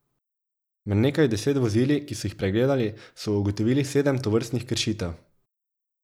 Med nekaj deset vozili, ki so jih pregledali, so ugotovili sedem tovrstnih kršitev.